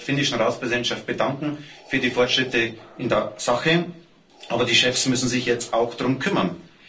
Ich möchte mich bei der finnischen Ratspräsidentschaft bedanken für die Fortschritte in der Sache, aber die Chefs müssen sich jetzt auch darum kümmern.